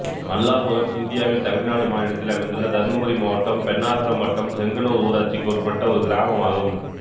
மல்லாபுரம் இந்தியாவின் தமிழ்நாடு மாநிலத்தில் அமைந்துள்ள தர்மபுரி மாவட்டம் பென்னாகரம் வட்டம் செங்கனூர் ஊராட்சிக்கு உட்பட்ட ஒரு கிராமம் ஆகும்